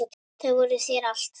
Þau voru þér allt.